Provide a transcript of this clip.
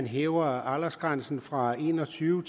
hæver aldersgrænsen fra en og tyve